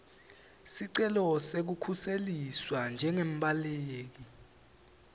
sicelo sekukhuseliswa njengembaleki